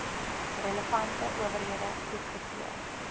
relevante owerhede goedgekeur